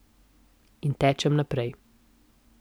In tečem naprej.